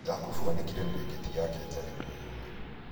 jakubu aanĩkire mĩrĩngĩti yake nja nĩguo yũũme